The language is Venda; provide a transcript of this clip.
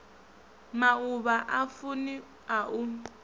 mauvha a fumi a u